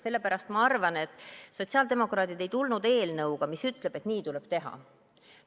Sellepärast ma arvan, et sotsiaaldemokraadid ei tulnud eelnõuga, mis ütleb, et nii tuleb teha.